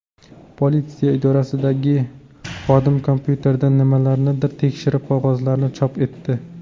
Politsiya idorasidagi xodim kompyuterdan nimalarnidir tekshirib, qog‘ozlarni chop etdi.